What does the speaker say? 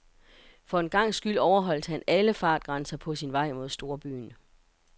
For en gangs skyld overholdt han alle fartgrænser på sin vej mod storbyen.